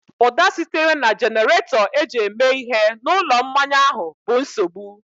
Ụda sitere na jenerato eji eme ihe na ụlọ mmanya ahụ bụ nsogbu